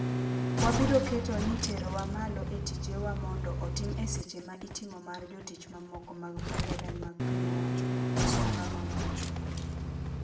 "Wabiro keto ni terowa malo e tije wa mondo otim e seche ma itimo mar jotich mamoko mag mbalariany mag piny owacho," Wasonga nowacho.